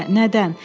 Niyə, nədən?